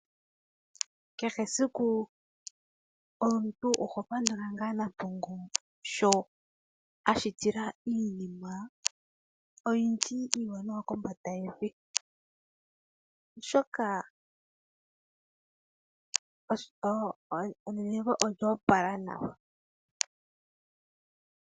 Kehesiku omuntu oho pandula ngaa Nampongo sho ashitila iinima oyindji iiwanawa kombanda yevi, oshoka olya opala nawa.